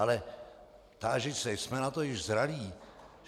Ale tážu se - jsme na to již zralí?